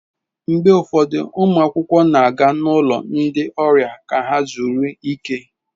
Mgbe ụfọdụ ụmụ akwụkwọ na-aga n'ụlọ ndị ọrịa ka ha zuru ike.